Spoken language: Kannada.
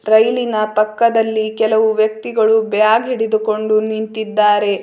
ಟ್ರೈನಿನ ಪಕ್ಕದಲ್ಲಿ ಕೆಲವು ವ್ಯಕ್ತಿಗಳು ಬ್ಯಾಗ್ ಹಿಡಿದುಕೊಂಡು ನಿಂತಿದ್ದಾರೆ.